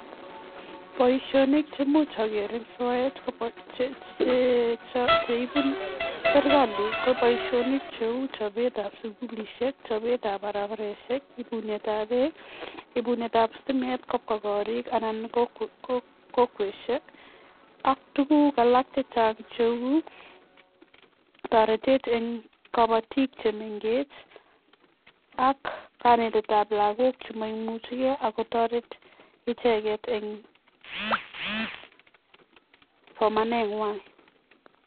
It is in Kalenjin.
Boishonik cheimuch ogeer en soet, cheibu serkalii ko boishonik cheu chobetab sugulisiek, chabetab barabaraisiek, ibunetab beek, ibuneetab sitimet kobwa gorik kobwa kokwesiek ak tuguuk alak chechang, cheu toretet en kobootik chemengech, ak kanetetab lagook chemoimuchigee ak kotoret icheget en somanenywan